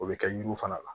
O bɛ kɛ yiriw fana la